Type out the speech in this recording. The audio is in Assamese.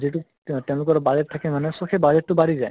যিটো তে তেওঁলোকৰ budget থাকে মানে so সেই budget টো বাঢ়ি যায়